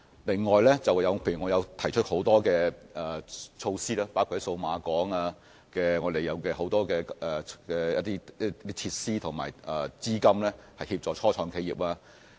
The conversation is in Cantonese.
此外，還有我剛才提及的很多措施，包括數碼港的很多設施，以及政府提供的資金，可協助初創企業。